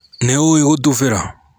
Nĩũĩ gũtubĩra?